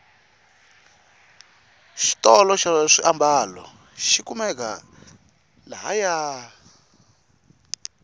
xitolo xa swiambalo xikumeka la haya